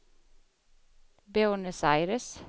Buenos Aires